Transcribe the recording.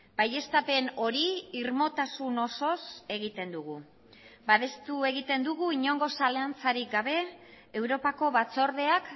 baieztapen hori irmotasun osoz egiten dugu babestu egiten dugu inongo zalantzarik gabe europako batzordeak